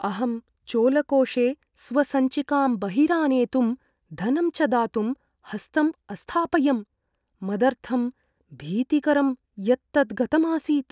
अहं चोलकोषे स्वसञ्चिकां बहिरानेतुं धनं च दातुं हस्तम् अस्थापयम्। मदर्थं भीतिकरं यत् तत् गतम् आसीत्!